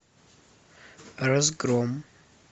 разгром